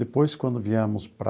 Depois, quando viemos para...